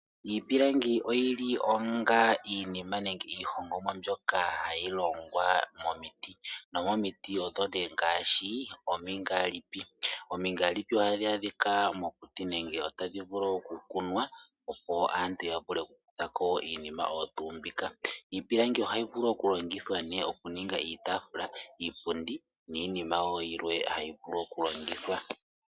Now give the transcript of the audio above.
Iipilangi oyili onga iinima nenge iihongomwa mbyoka hayi longwa momiti, nomomiti odho nee ngaashi omingalipi. Omingalipi ohadhi adhika mokuti nenge oto dhi vulu okukunwa opo aantu ya vule okukuthako iinima oyo tuu mbika. Iipilangi ohayi vulu okulongithwa nee okuninga iitafula, iipundi, niinima wo yilwe hayi vulu okulongithwa.